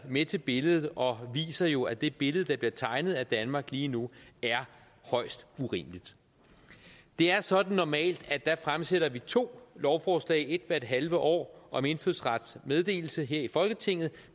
med til billedet og viser jo at det billede der bliver tegnet af danmark lige nu er højst urimeligt det er sådan normalt at vi fremsætter to lovforslag et hvert halve år om indfødsrets meddelelse her i folketinget